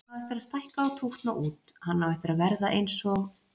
Hann á eftir að stækka og tútna út, hann á eftir að verða eins og